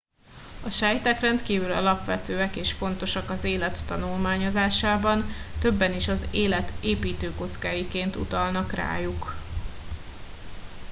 a sejtek rendkívül alapvetőek és fontosak az élet tanulmányozásában többen is az élet építőkockáiként utalnak rájuk